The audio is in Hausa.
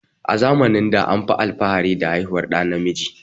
A zamanin anfi alfahari da haihuwar ɗa namiji